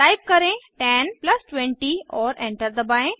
type करें 10 plus 20 और enter दबाएं